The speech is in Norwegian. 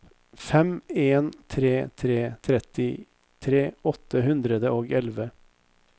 fem en tre tre trettitre åtte hundre og elleve